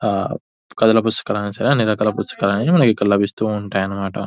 హ కథల పుస్తకాలు అయిన సరే అని రకాల పుస్తకాలు అని మనకి ఇక్కడ లభిస్తూ ఉంటాయి అన్న మాట.